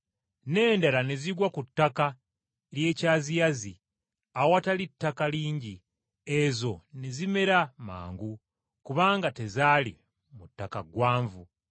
N’endala ne zigwa ku ttaka ery’ekyaziyazi awatali ttaka lingi, ezo ne zimera mangu kubanga tezaali mu ttaka gwanvu.